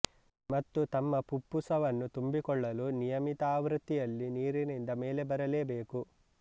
ಮತ್ತು ತಮ್ಮ ಪುಪ್ಪುಸವನ್ನು ತುಂಬಿಕೊಳ್ಳಲು ನಿಯಮಿತ ಆವೃತ್ತಿಯಲ್ಲಿ ನೀರಿನಿಂದ ಮೇಲೆ ಬರಲೇ ಬೇಕು